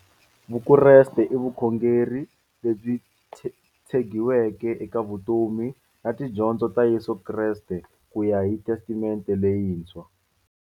Vukreste i vukhongeri lebyi tshegiweke eka vutomi na tidyondzo ta Yesu Kreste kuya hi Testamente leyintshwa.